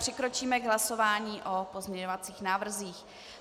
Přikročíme k hlasování o pozměňovacích návrzích.